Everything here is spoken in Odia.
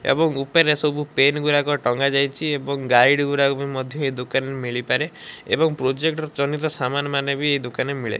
ଏବଂ ଉପରେ ସବୁ ପେନ୍ ଗୁରାକ ଟଙ୍ଗା ଯାଇଛି ଏବଂ ଗାଇଡି ଗୁରାକ ମଧ୍ୟ ଏ ଦୋକାନରେ ମିଳି ପାରେ ଏବଂ ପ୍ରୋଜେକ୍ଟ ଜନିତ ସମାନ ମାନେ ବି ଏ ଦୋକାନ ରେ ମିଳେ।